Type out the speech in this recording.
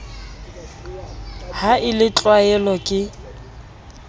ha e le tlwaelovv ke